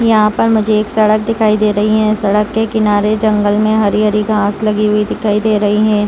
यहां पर मुझे एक सड़क दिखाई दे रही है सड़क के किनारे जंगल में हरी-हरी घास लगी हुई दिखाई दे रही है।